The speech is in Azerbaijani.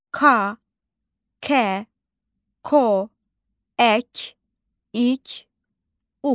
Ka, kə, ko, ək, ik, uk.